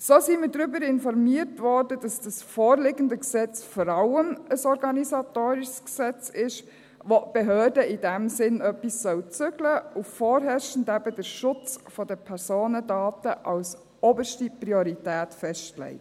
So wurden wir darüber informiert, dass das vorliegende Gesetz vor allem ein organisatorisches Gesetz ist, bei dem die Behörde in diesem Sinn etwas zügeln soll und vorherrschend eben den Schutz der Personendaten als oberste Priorität festlegt.